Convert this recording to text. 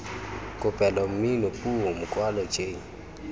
kopelo mmino puo mokwalo j